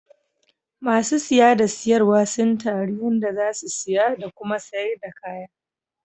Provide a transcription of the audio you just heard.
Ma sun siya da sarwa suna taru yanda za su siya da Kuma sayar da kaya.